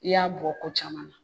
I y'a bɔ ko caman na